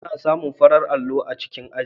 Ana samun farar allo a cikin aji.